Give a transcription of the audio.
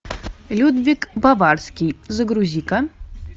людвиг баварский загрузи ка